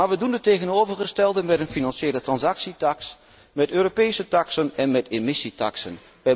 Maar we doen het tegenovergestelde met een financiële transactietaks, met Europese taksen en met emissietaksen.